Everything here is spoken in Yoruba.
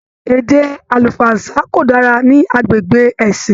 Èdè àlùfáànsa ko dára ní agbègbè ẹ̀sìn.